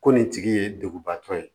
Ko nin tigi ye duguba tɔ ye